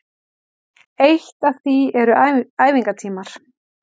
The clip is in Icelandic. Eitt af því eru æfingatímar